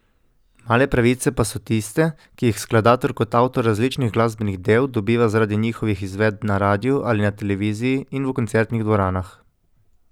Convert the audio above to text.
Male pravice pa so tiste, ki jih skladatelj kot avtor različnih glasbenih del dobiva zaradi njihovih izvedb na radiu ali na televiziji in v koncertnih dvoranah.